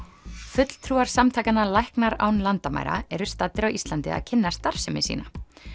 fulltrúar samtakanna læknar án landamæra eru staddir á Íslandi að kynna starfsemi sína